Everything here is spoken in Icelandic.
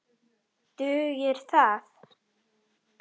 Dugir það?